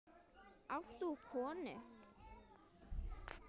Átt þú konu?